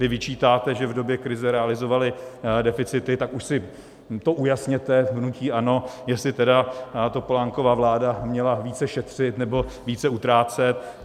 Vy vyčítáte, že v době krize realizovaly deficity, tak už si to ujasněte v hnutí ANO, jestli tedy Topolánkova vláda měla více šetřit, nebo více utrácet.